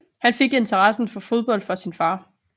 Han fik interessen for fodbold fra sin far